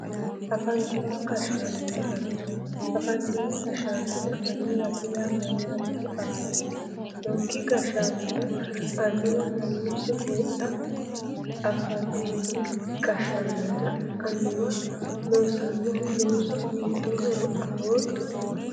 Afantino gashshaanonna annuwa afantino gashshaanonna annuwate yaa mayyaate afantink gashshaanonna annuwa mamiicho heedha afantino gashshaanonna annuwa loossannohu loosul hiittohoro afootto